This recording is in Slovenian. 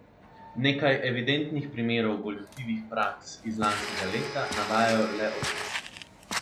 Nekaj evidentnih primerov goljufivih praks iz lanskega leta navajajo le opisno.